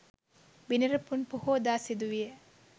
බිනර පුන් පොහෝදා සිදු විය